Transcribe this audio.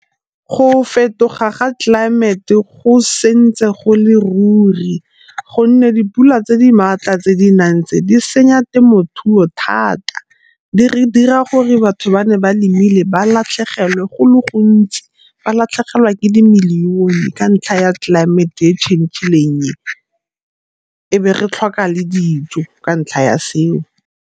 Go fetoga ga tlelaemete go sentse go le ruri gonne dipula tse di maatla tse di nang tse di senya temothuo thata. Di re dira gore batho ba ne ba lemileng ba latlhegelwe go le gontsi ba latlhegelwa ke dimilione ka ntlha ya tlelaemete e e change-ileng e, e be re tlhoka le dijo ka ntlha ya seo.